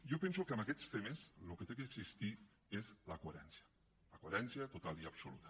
jo penso que en aquests temes el que ha d’existir és la coherència la coherència total i absoluta